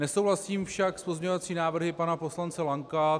Nesouhlasím však s pozměňovacími návrhy pana poslance Lanka.